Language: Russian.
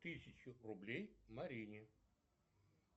тысячу рублей марине